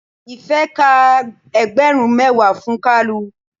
Ife ka ẹgbẹrun mẹwa fún kalu.